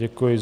Děkuji.